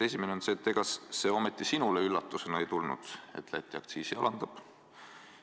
Esimene on see: ega see ometi sinule üllatusena ei tulnud, et Läti aktsiisi alandab?